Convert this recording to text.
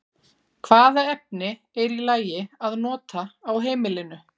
Hvaða efni er í lagi að nota á heimilinu?